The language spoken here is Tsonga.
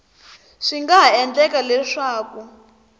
swi nga ha endleka leswaku